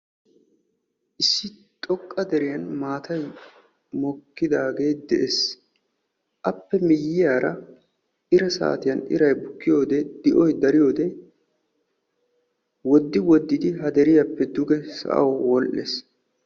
issi xoqqa deriyan maatay mokkidaagee de'ees. appe miyiyaara ira saatiyian iray buikkiyode ira saatiyaan wodi wodidi dege wodhees.